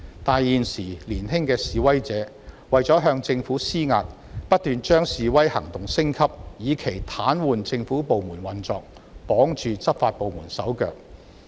但是，現時年輕的示威者為了向政府施壓，便不斷把示威行動升級，以期癱瘓政府部門的運作及綁住執法部門的手腳。